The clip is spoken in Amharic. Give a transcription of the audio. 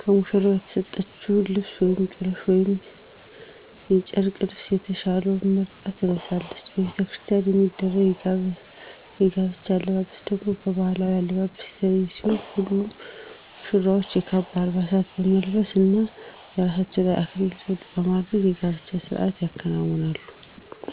ከሙሽራው የተሰጠችውን ልብስ ውስጥ ጥበብ ወይም የጨርቅ ልብሰ የተሻለውን መርጣ ትለብሳለች። በቤተክርስቲያን የሚደረግ የጋብቻ አለባበስ ደግሞ ከባህላዊው አለባበስ የተለየ ሲሆን ሁለቱም ሙሽራዎች የካባ አልባሳትን በመልበስ እና ከራሳቸው ላይ የአክሊል ዘውድ በማድረግ የጋብቻ ስርአቱን ያከብራሉ።